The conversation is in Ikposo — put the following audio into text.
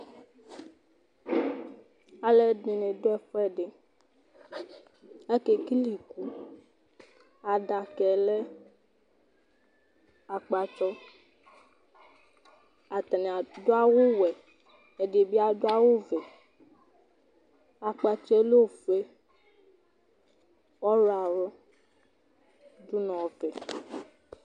Aluɛɖìŋí aɖu ɛfʋɛɖi Akekele ikʋ Aɖakaɛ lɛ akpatsɔ Ataŋi aɖu awu wɛ Ɛɖìbí aɖu awu vɛ Akpatsɔ lɛ ɔfʋe, ɔwlɔmɔ ɖu ŋu ɔvɛ